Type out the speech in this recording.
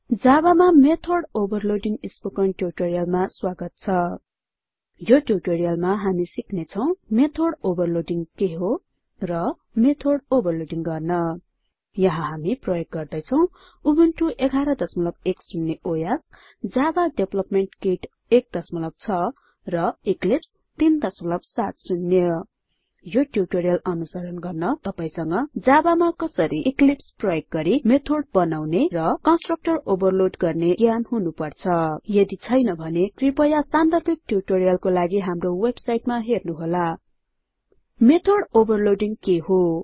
जाबामा method overloading spoken ट्युटोरियलमा स्वागत छ यो ट्यटोरियलमा हामी सिक्नेछौं मेथड overloadingके हो र methodओभरलोड गर्न यहाँ हामी प्रयोग गर्दैछौं Ubuntu version 1110 OS Java development kit 16 र इक्लिप्स 370 यो ट्युटोरियल अनुसरण गर्न तपाइसंग जाबामा कसरी इक्लिप्स प्रयोग गरिmethods बनाउने र कन्स्ट्रक्टर ओभरलोड गर्ने ज्ञान हुनुपर्छ यदि छैन भने कृपया सान्दर्भिक ट्युटोरियलको लागि हाम्रो वेबसाइटमा हेर्नुहोला httpwwwspoken tutorialओर्ग मेथड overloadingके हो